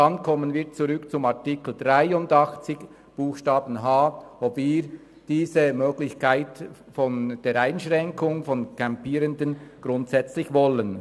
Dann kommen wir zurück zu Artikel 83 Absatz 1 Buchstabe h und zur Frage, ob wir diese Möglichkeit der Einschränkung von Campierenden grundsätzlich wollen.